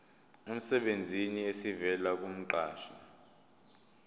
emsebenzini esivela kumqashi